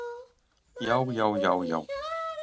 Já já já já.